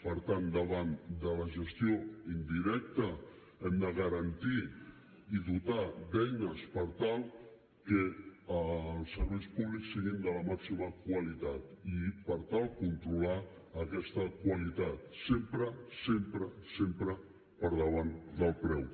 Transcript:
per tant davant de la gestió indirecta hem de garantir i dotar d’eines per tal que els serveis públics siguin de la màxima qualitat i per tal de controlar aquesta qualitat sempre sempre sempre per davant del preu